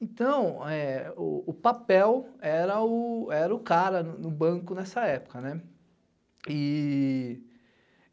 Então, o papel era o cara no banco nessa época.